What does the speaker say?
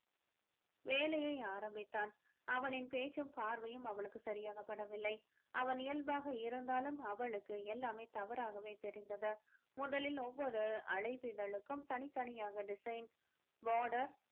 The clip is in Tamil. வேலையை ஆரம்பித்தான் அவனின் பேச்சும் பார்வையும் அவளுக்கு சரியாக படவில்லை அவன் இயல்பாக இருந்தாலும் அவளுக்கு எல்லாமே தவறாகவே தெரிந்தது முதலில் ஒவ்வொரு அழைப்பிதழுக்கும் தனித்தனியாக design border